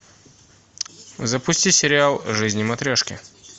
запусти сериал жизни матрешки